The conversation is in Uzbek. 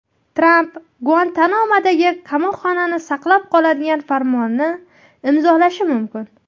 Tramp Guantanamodagi qamoqxonani saqlab qoladigan farmonni imzolashi mumkin.